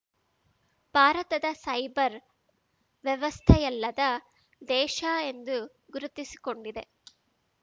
ಭಾರತದ ಸೈಬರ್ ವ್ಯವಸ್ಥೆಯಲ್ಲದ ದೇಶ ಎಂದು ಗುರುತಿಸಿಕೊಂಡಿದೆ